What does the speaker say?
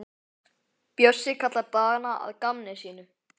Bjössi kallar dagana að gamni sínu.